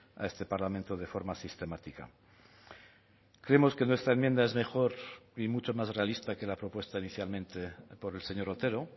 a este parlamento de forma sistemática creemos que nuestra enmienda es mejor y mucho más realista que la propuesta inicialmente por el señor otero